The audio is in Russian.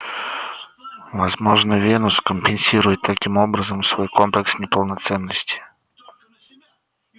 возможно венус компенсирует таким образом свой комплекс неполноценности